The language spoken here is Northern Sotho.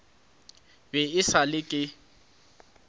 be e sa le ke